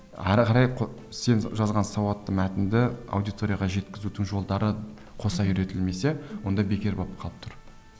ары қарай сен жазған сауатты мәтінді аудиторияға жеткізудің жолдары қоса үйретілмесе онда бекер болып қалып тұр